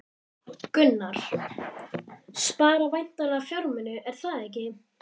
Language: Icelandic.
Gunnar: Spara væntanlega fjármuni, er það ekki?